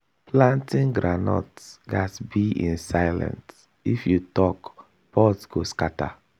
planting groundnut gats be in silence if you talk pods go scatter.